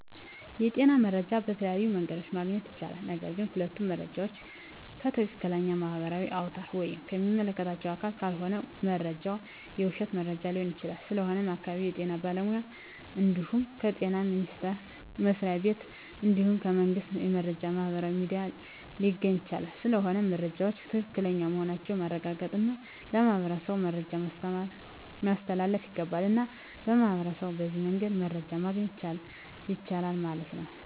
የጤና መረጃ በተለያዮ መንገድ ማግኘት ይቻላል ነገርግ ሁሉም መረጃ ዎችን ከትክለኛ ማህበራዊ አውታር ወይም ከሚመለከተው አካል ካልሆነ መረጃው የውሽት መረጃ ሊሆን ይችላል ስለሆነም ከአካባቢው የጤና ባለሙያ እንድሁም ከጤና ሚኒስተር መስሪያ ቤት እንድሁም ከመንግስት የመረጃ ማህበራዊ ሚዲያ ሊገኝ ይቻላል ስለሆነም መረጃወች ትክክለኛ መሆናቸውን ማረጋገጥ እና ለማህበረሠቡ መረጃን ማስተላለፍ ይገባል። እና ሚህበረሸቡ በዚህ መንገድ መረጃ ማገኘት ይችላሉ ማለት ነው